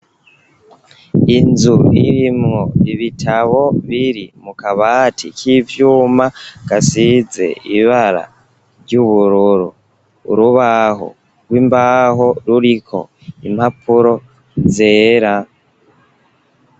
Inzu irimwo ibitabo biri mukabati k'ivyuma, gasize ibara ry'ubururu, urubaho rw'imbaho ruriko impapuro zera.